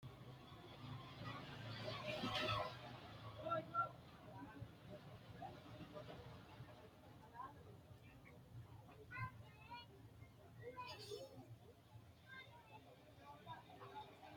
tini maa xawissanno misileeti ? mulese noori maati ? hiissinannite ise ? tini kultannori mattiya? Machu misile mayi maxxaffi aanna kayiinse woroonnisi?